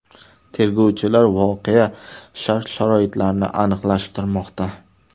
Tergovchilar voqea shart-sharoitlarini aniqlashtirmoqda.